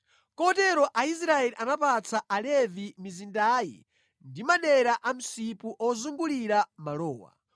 Kotero Aisraeli anapatsa Alevi mizindayi ndi madera a msipu ozungulira malowa.